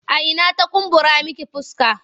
A ina ta kumbura miki fuska?